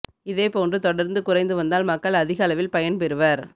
இதே போன்று தொடர்ந்து குறைந்து வந்தால் மக்கள் அதிக அளவில் பயன்பெறுவர்